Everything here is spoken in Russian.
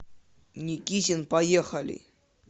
никитин поехали